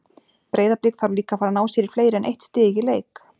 Breiðablik þarf líka að fara að ná sér í fleiri en eitt stig í leik.